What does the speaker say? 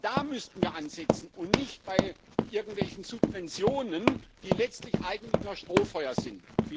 Da müssten wir ansetzen und nicht bei irgendwelchen Subventionen, die letztlich eigentlich nur ein Strohfeuer sind.